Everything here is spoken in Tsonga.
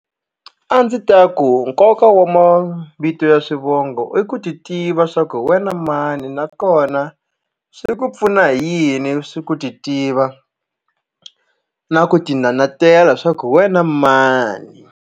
A ndzi ta ku nkoka wa mavito ya swivongo i ku titiva swa ku hi wena mani nakona swi ku pfuna hi yini swi ku titiva na ku tinanatela swa ku hi wena mani.